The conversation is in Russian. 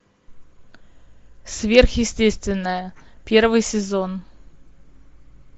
сверхъестественное первый сезон